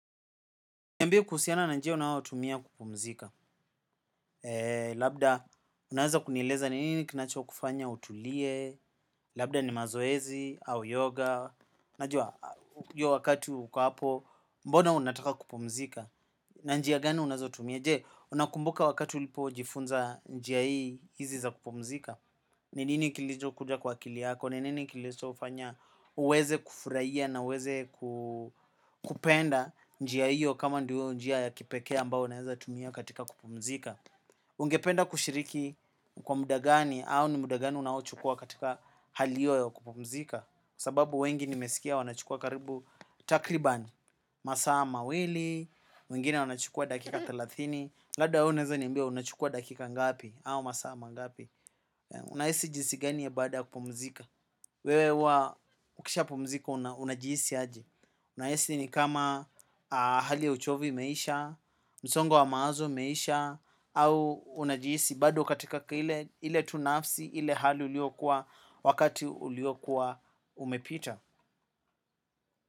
Niambie kuhusiana na njia unaotumia kupumzika. Labda unaeza kunieleza ni nini kinachokufanya utulie. Labda ni mazoezi au yoga. Najua wakati huko hapo. Mbona unataka kupumzika na njia gani unazotumia. Je, unakumbuka wakati ulipojifunza njia hii hizi za kupumzika. Nini kilichokuja kwa akili yako. Ni nini kilichofanya uweze kufurahia na uweze kupenda njia hiyo kama ndio njia ya kipekee ambao unaeza tumia katika kupumzika. Ungependa kushiriki. Kwa muda gani au ni muda gani unaochukuwa katika hali hiyo ya kupumzika. Sababu wengi nimesikia wanachukua karibu takribani masaa mawili. Wengine wanachukua dakika thelathini. Labda wewe unaeza niambia unachukua dakika ngapi au masaa mangapi. Unahisi jinsi gani baada ya kupumzika. Wewe huwa ukishapumzika unajihisi aje. Unahisi ni kama hali ya uchovu imeisha. Msongo wa mawazo umeisha au unajihisi bado katika ile tu nafsi ile hali uliokuwa wakati uliokuwa umepita.